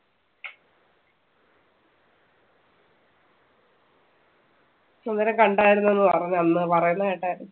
ഇവരെ കണ്ടായിരുന്നെന്ന് പറഞ്ഞു അന്ന് പറയുന്ന കേട്ടായിരുന്നു.